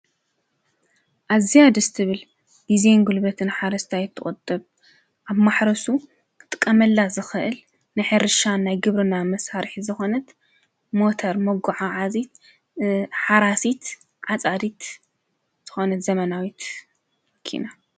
ኣዝያ ደስ ትብል፣ ግዜን ጉልበትን ሓረስታይ ትቁጥብ ፣ኣብ ማሕረሱ ክጥቀመላ ዝክእል ናይ ሕርሻን ናይ ግብርና መሳርሒት ዝኮነት ሞተር መጓዓዓዚት ሓራሲት ዓጻዲት ዝኾነት ዘመናዊት መኪና።